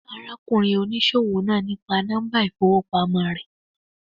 Wón gbá ara kùnrin oníṣòwò náà nípa nọ́mbà ìfowópamọ́ re